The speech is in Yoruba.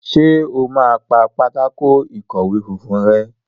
Ṣe o má pá Pátákó ìkọ̀wé funfun rè?